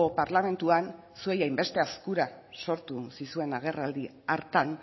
parlamentuanzuei hain beste azkura sortu zizuen agerraldi hartan